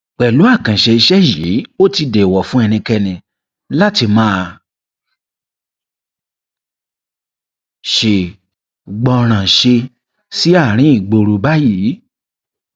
pẹlú àkànṣe iṣẹ yìí ó ti dẹẹwò fún ẹnikẹni láti máa ṣègbọrànṣe sí àárín ìgboro báyìí